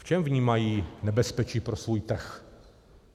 V čem vnímají nebezpečí pro svůj trh?